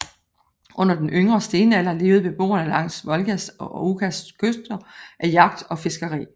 Under yngre stenalder levede beboerne langs Volgas og Okas kyster af jagt og fiskeri